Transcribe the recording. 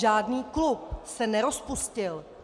Žádný klub se nerozpustil.